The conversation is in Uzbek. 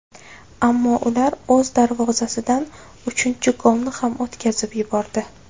Ammo ular o‘z darvozasidan uchinchi golni ham o‘tkazib yubordi.